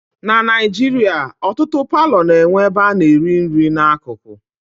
Na Naijiria ọtụtụ palọ na-enwe ebe a na-eri nri na akụkụ